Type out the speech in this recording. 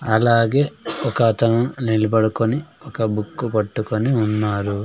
అలాగే ఒక అతను నిలబడుకొని ఒక బుక్కు పట్టుకొని ఉన్నారు.